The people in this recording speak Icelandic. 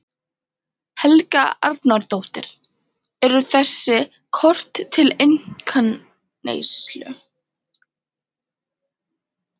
Helga Arnardóttir: Eru þessi kort til einkaneyslu?